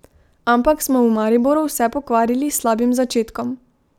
Ampak smo v Mariboru vse pokvarili s slabim začetkom.